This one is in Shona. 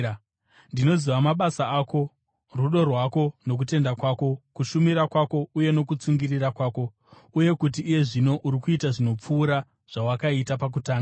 Ndinoziva mabasa ako, rudo rwako nokutenda kwako, kushumira kwako uye nokutsungirira kwako, uye kuti iye zvino uri kuita zvinopfuura zvawakaita pakutanga.